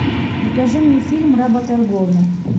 покажи мне фильм работорговля